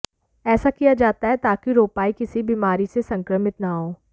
ऐसा किया जाता है ताकि रोपाई किसी भी बीमारी से संक्रमित न हों